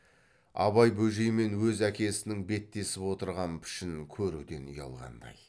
абай бөжей мен өз әкесінің беттесіп отырған пішінін көруден ұялғандай